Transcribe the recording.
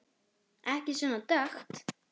Ekki svona dökkt.